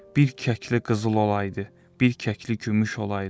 Bir kəkli qızıl olaydı, bir kəkli gümüş olaydı.